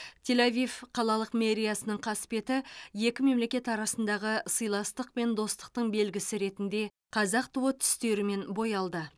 тель авив қалалық мэриясының қасбеті екі мемлекет арасындағы сыйластық пен достықтың белгісі ретінде қазақ туы түстерімен боялды